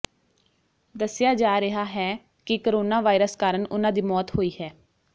ਦੱਸਿਆ ਜਾ ਰਿਹਾ ਹੈ ਕਿ ਕੋਰੋਨਾ ਵਾਇਰਸ ਕਾਰਨ ਉਨ੍ਹਾਂ ਦੀ ਮੌਤ ਹੋਈ ਹੈ